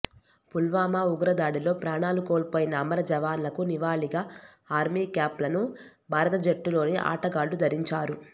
పుల్వామా ఉగ్రదాడిలో ప్రాణాలు కోల్పోయిన అమర జవాన్లకు నివాళిగా ఆర్మీ క్యాప్లను భారత జట్టులోని ఆటగాళ్లు ధరించారు